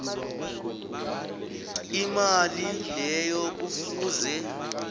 imali leyo kufuze